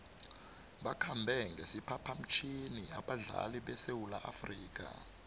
bakhambe ngesiphaphamtjhini abadlali besewula afrika